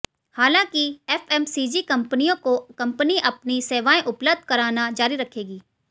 हालांकि एफएमसीजी कंपनियों को कंपनी अपनी सेवाएं उपलब्ध कराना जारी रखेगी